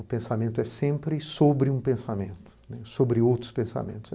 O pensamento é sempre sobre um pensamento, sobre outros pensamentos.